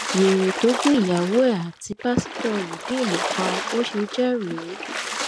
wẹrẹ tó gun ìyàwó ẹ àti pásítọ rìdíìmù pa bó ṣe jẹ rèé